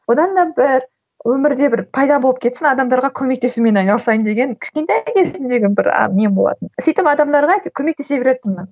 одан да бір өмірде бір пайда болып кетсін адамдарға көмектесумен айналысайын деген кішкентай кезімдегі бір нем болатын сөйтіп адамдарға көмектесе беретінмін